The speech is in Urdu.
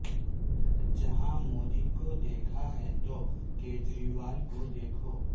جہاں مودی کو دیکھا ہے تو کجریوال کو دیکھو